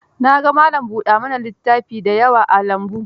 Na ga malam buɗa ma na littafi da yawa a lambun.